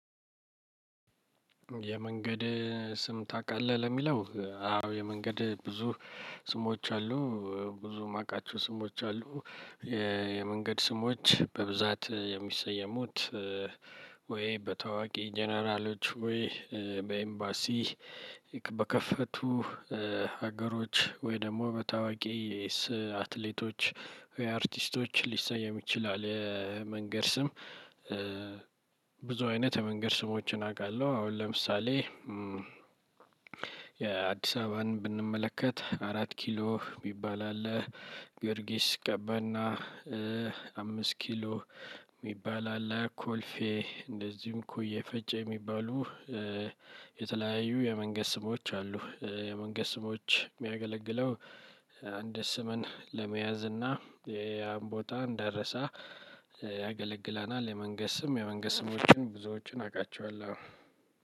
የመንገድ ስም ታውቃለህ? ለሚለው አዎ የመንገድ ብዙ ስሞች አሉ ብዙ የማውቃቸው ስሞች አሉ። የመንገድ ስሞች በብዛት የሚሰየሙት ወይ በታዋቂ ጀነራሎች ወይ በኤምባሲ በከፈቱ ሀገሮች ወይ ደግሞ በታዋቂ የኤስ አትሌቶች ወይ አርቲስቶች ሊሰየም ይችላል። መንገድ ስም ብዙ አይነት የመንገድ ስሞችን አውቃለሁ። አሁን ለምሳሌ የአዲስ አበባን ብንመለከት አራት ኪሎ የሚባል አለ። ጊዮርጊስ ቀበና አምስት ኪሎ የሚባል አለ ኮልፌ እንደዚሁም ኮዬ ፈጬ የሚባሉ የተለያዩ የመንገድ ስሞች አሉ። የመንገድ ስሞች የሚያገለግለው አንድ ስምን ለመያዝ እና ያም ቦታ እንዳይረሳ ያገለግለናል። የመንገድ ስም የመንገድ ስሞችን ብዙዎቹን አውቃቸዋለሁ።